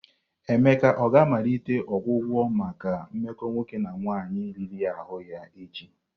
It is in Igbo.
Emeka ọ ga-amalite ọgwụgwọ maka mmekọ nwoke na nwaanyị riri ahụ ya echi?